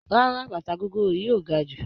Rárá bàtà gogoro yìí ò ga jù.